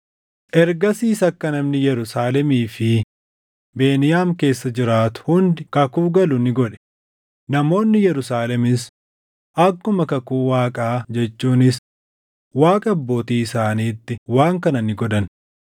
Ergasiis akka namni Yerusaalemii fi Beniyaam keessa jiraatu hundi kakuu galu ni godhe; namoonni Yerusaalemis akkuma kakuu Waaqaa jechuunis Waaqa abbootii isaaniitti waan kana ni godhan.